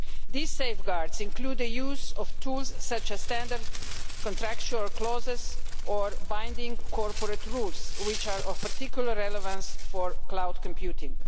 These safeguards include the use of tools such as standard contractual clauses or binding corporate rules, which are of particular relevance for cloud computing.